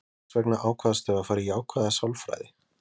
Hvers vegna ákvaðstu að fara í jákvæða sálfræði?